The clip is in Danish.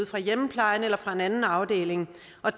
fra hjemmeplejen eller fra en anden afdeling og